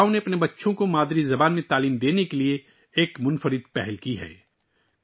اس گاؤں نے اپنے بچوں کو ان کی مادری زبان میں تعلیم فراہم کرنے کے لیے ایک انوکھا اقدام کیا ہے